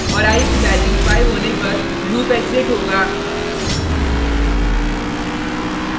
और i की value 5 होने पर लूप एग्जिट होगा